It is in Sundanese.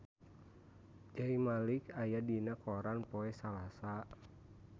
Zayn Malik aya dina koran poe Salasa